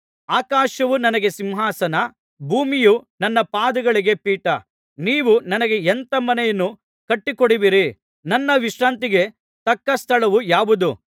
ಆಕಾಶವು ನನಗೆ ಸಿಂಹಾಸನ ಭೂಮಿಯು ನನ್ನ ಪಾದಗಳಿಗೆ ಪೀಠ ನೀವು ನನಗೆ ಎಂಥ ಮನೆಯನ್ನು ಕಟ್ಟಿಕೊಡುವಿರಿ ನನ್ನ ವಿಶ್ರಾಂತಿಗೆ ತಕ್ಕ ಸ್ಥಳವು ಯಾವುದು